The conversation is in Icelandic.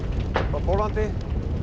frá Póllandi